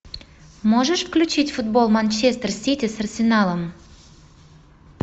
можешь включить футбол манчестер сити с арсеналом